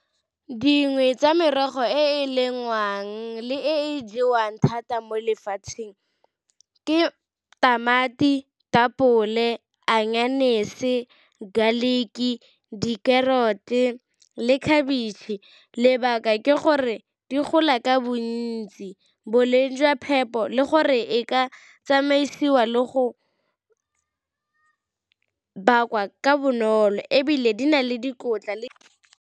Dingwe tsa merogo e e lengwang le e jewang thata mo lefatsheng ke tamati, ditapole, , garlic-ki, di-carrot-e le khabitšhe. Lebaka ke gore di gola ka bontsi boleng jwa phepo le gore e ka tsamaisiwa le go bakwa ka bonolo, ebile di na le dikotla le.